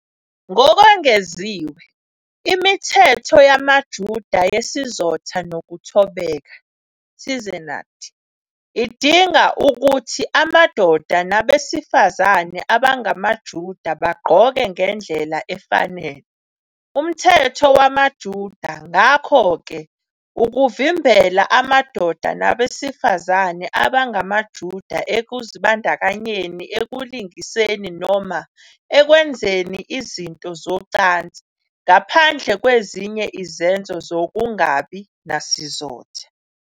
Ngokwengeziwe, imithetho yamaJuda yesizotha nokuthobeka, "tzniut", idinga ukuthi amadoda nabesifazane abangamaJuda bagqoke ngendlela efanele. Umthetho wamaJuda ngakho-ke uvimbela amadoda nabesifazane abangamaJuda ekuzibandakanyeni ekulingiseni noma ekwenzeni izinto zocansi, ngaphandle kwezinye izenzo zokungabi nasizotha.